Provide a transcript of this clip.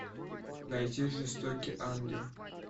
найти жестокий ангел